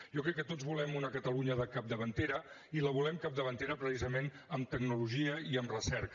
jo crec que tots volem una catalunya capdavantera i la volem capdavantera precisament en tecnologia i en recerca